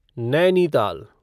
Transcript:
Nainital